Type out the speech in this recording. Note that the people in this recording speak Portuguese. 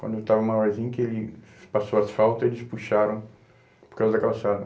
Quando eu estava maiorzinho, que ele passou asfalto, eles puxaram por causa da calçada.